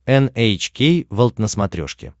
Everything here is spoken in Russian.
эн эйч кей волд на смотрешке